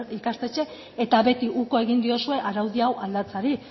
ikastetxe eta beti uko egin diozue araudi hau aldatzeari